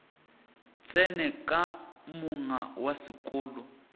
tsene ka monga wa seloko